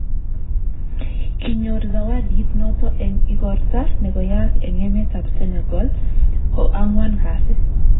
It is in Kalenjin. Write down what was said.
Kinyoor Zawadit noto eng' igorta ne koyaak eng' emet ab Senegal ko ang'wan kasi